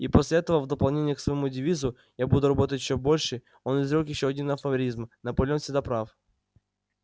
и после этого в дополнение к своему девизу я буду работать ещё больше он изрёк ещё один афоризм наполеон всегда прав